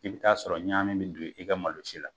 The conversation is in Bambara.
I bɛɛ t'a sɔrɔ ɲamin bɛ don i ka malo si la.